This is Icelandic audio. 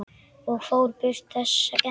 Og fór burt, þessi skepna.